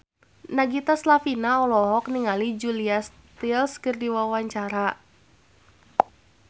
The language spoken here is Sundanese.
Nagita Slavina olohok ningali Julia Stiles keur diwawancara